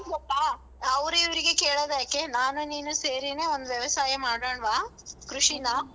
ಗೊತ್ತಾ ಅವ್ರಿವ್ರಿಗೆ ಕೇಳೋದ್ಯಾಕೆ ನಾನು ನೀನು ಸೇರಿನೇ ಒಂದ್ ವ್ಯವಸಾಯ ಮಾಡೋಣ್ವಾ? ಕೃಷಿನಾ?